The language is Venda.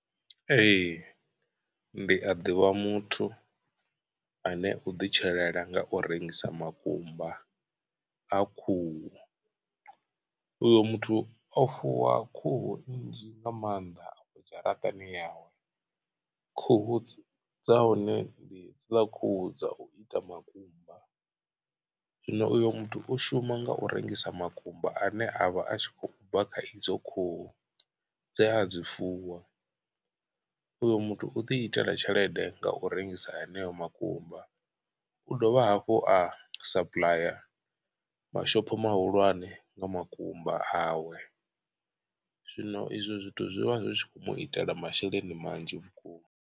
Ee ndi a ḓivha muthu ane u ḓi tshilela nga u rengisa makumba a khuhu uyo muthu o fuwa khuhu nnzhi nga maanḓa dzharaṱani yawe. Khuhu dza hone ndi dzi ḽa khuhu dza u ita makumba zwino uyo muthu u shuma nga u rengisa makumba ane a vha a tshi khou bva kha idzo khuhu. Dze a dzi fuwa uyo muthu u ḓi itela tshelede nga u rengisa heneyo makumba u dovha hafhu a supplyer mashopho mahulwane nga makumba awe zwino izwo zwithu zwi vha zwi khou mu itela masheleni manzhi vhukuma.